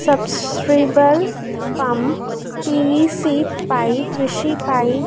pump PVC pipe Rishi pipe